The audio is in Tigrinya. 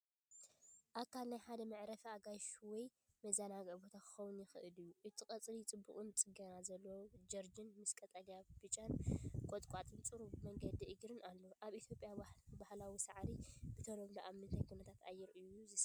ኣካል ናይ ሓደ መዕረፊ ኣጋይሽ ወይ መዘናግዒ ቦታ ክኸውን ይኽእል እዩ። እቲ ቀጽሪ ጽቡቕ ጽገና ዘለዎ ጀርዲን ምስ ቀጠልያን ብጫን ቁጥቋጥን ጽሩብ መገዲ እግሪን ኣለዎ። ኣብ ኢትዮጵያ ባህላዊ ሳዕሪ ብተለምዶ ኣብ ምንታይ ኩነታት ኣየር እዩ ዝስራሕ?